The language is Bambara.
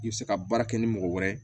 I bɛ se ka baara kɛ ni mɔgɔ wɛrɛ ye